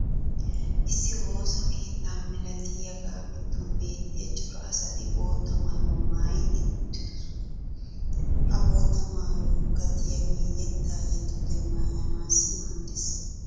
issi woossa keetta ma; lattiyaagaa giddon beettiya cora asati bootta maayuwaa maayi uttidosona. ha bootta maayyoykka diyaagee yettaa yexxiyoode maayyanaassi maaddees.